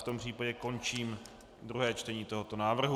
V tom případě končím druhé čtení tohoto návrhu.